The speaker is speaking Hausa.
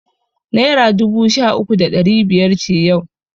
Naira dubu sha uku da ɗari biyar ce yau.